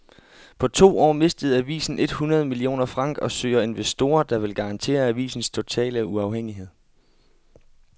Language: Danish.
På to år mistede avisen et hundrede millioner franc og søger investorer, der vil garantere avisens totale uafhængighed.